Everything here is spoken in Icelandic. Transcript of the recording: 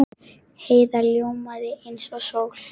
Heiða ljómaði eins og sól.